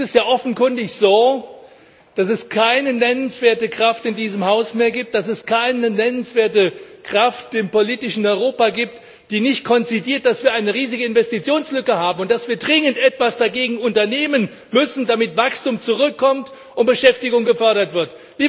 Es ist ja offenkundig so, dass es keine nennenswerte Kraft in diesem Haus mehr gibt, dass es keine nennenswerte Kraft im politischen Europa gibt, die nicht konzediert, dass wir eine riesige Investitionslücke haben und dass wir dringend etwas dagegen unternehmen müssen, damit Wachstum zurückkommt und Beschäftigung gefördert wird.